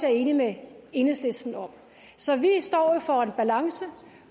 er enig med enhedslisten om så vi står for en balance